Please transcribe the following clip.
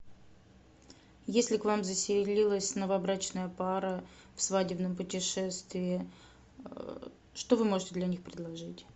если к вам заселилась новобрачная пара в свадебном путешествии что вы можете для них предложить